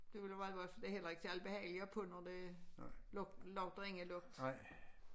Det ville være godt for det er heller ikke særligt behageligt at have på når det lugt lugter af en lugter